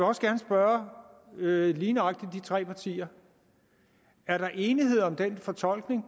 også gerne spørge lige nøjagtig de tre partier er der enighed om den fortolkning